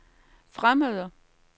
fremmede